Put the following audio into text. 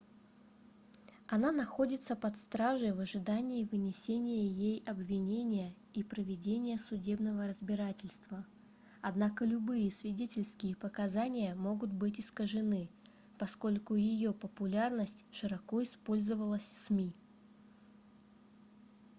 она находится под стражей в ожидании вынесения ей обвинения и проведения судебного разбирательства однако любые свидетельские показания могут быть искажены поскольку её популярность широко использовалась сми